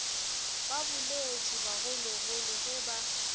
ba boletše bagologolo ge ba